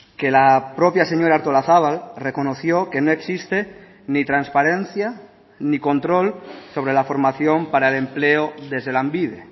que la propia señora artolazabal reconoció que no existe ni transparencia ni control sobre la formación para el empleo desde lanbide